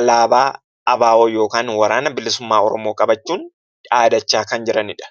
alaanaa ABO yookiin kan WBO qabachuun dhaadachaa kan jiranidha.